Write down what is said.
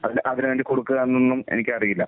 അത് അതിന് വേണ്ടി കൊടുക്കുകയെന്നൊന്നും എനിക്കറിയില്ല.